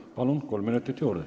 Palun, kolm minutit juurde!